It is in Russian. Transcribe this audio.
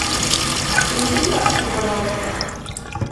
принесите тапочки пожалуйста